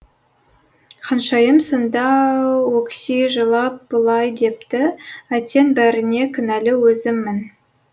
ханшайым сонда өкси жылап былай депті әттең бәріне кінәлі өзіммін